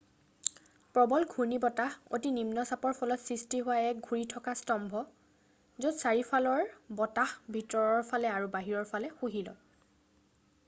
প্ৰবল ঘূৰ্ণীবতাহ অতি নিম্ন চাপৰ ফলত সৃষ্টি হোৱা এক ঘূৰি থকা স্তম্ভ য'ত চাৰিওফালৰ বতাহ ভিতৰৰ ফালে আৰু বাহিৰৰ ফালে শুহি লয়